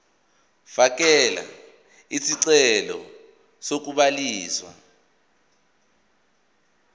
fakela isicelo sokubhaliswa